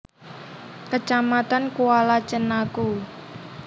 Kecamatan Kuala Cenaku